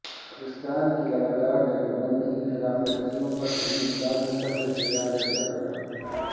پاکستان کی لگاتار جنگ بندی کی خلاف ورزیوں پر ہندوستان نے سخت احتجاج درج کرایا